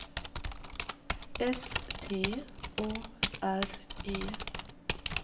S T O R E